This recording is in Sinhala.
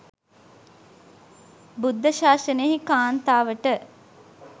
බුද්ධ ශාසනයෙහි කාන්තාවට